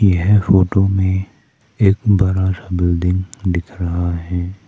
यह फोटो में एक बड़ा सा बिल्डिंग दिख रहा है।